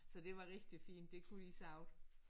Så det var rigtig fint det kunne de sagtens